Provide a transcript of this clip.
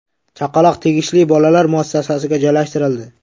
Chaqaloq tegishli bolalar muassasasiga joylashtirildi.